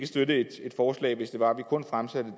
støtte et forslag hvis det var at vi kun fremsatte